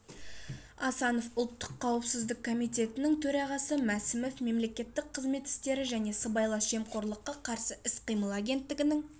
асанов ұлттық қауіпсіздік комитетінің төрағасы мәсімов мемлекеттік қызмет істері және сыбайлас жемқорлыққа қарсы іс-қимыл агенттігінің